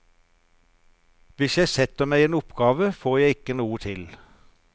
Hvis jeg setter meg en oppgave, får jeg ikke til noe.